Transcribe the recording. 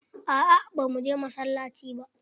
Aa ba mu je masallaci ba.